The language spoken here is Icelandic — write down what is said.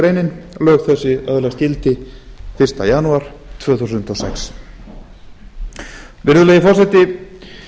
grein lög þessi öðlast gildi fyrsta janúar tvö þúsund og sex virðulegi forseti